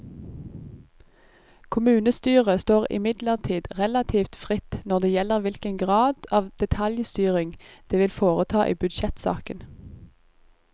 Kommunestyret står imidlertid relativt fritt når det gjelder hvilken grad av detaljstyring det vil foreta i budsjettsaken.